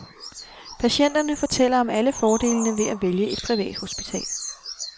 Patienterne fortæller om alle fordelene ved at vælge et privathospital.